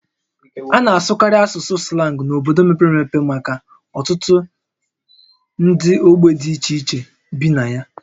A na-asụkarị asụsụ slang n'obodo mepere emepe maka ọtụtụ ndị ogbe dị iche iche bi na ya